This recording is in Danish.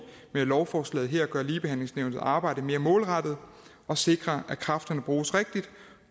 med lovforslaget her gør ligebehandlingsnævnets arbejde mere målrettet og sikrer at kræfterne bruges rigtigt